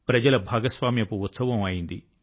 ప్రజల భాగస్వామ్యపు ఉత్సవం అయింది